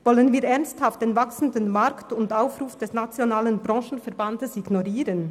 Wollen wir ernsthaft den wachsenden Markt und den Aufruf des nationalen Branchenverbands ignorieren?